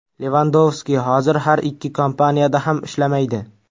Levandovski hozir har ikki kompaniyada ham ishlamaydi.